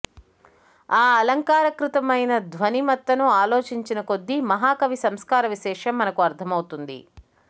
ఆ అలంకారకృతమైన ధ్వనిమత్తను ఆలోచించిన కొద్దీ మహాకవి సంస్కారవిశేషం మనకు అర్థమవుతుంది